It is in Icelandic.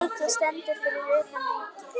Eiki stendur fyrir utan Ríkið.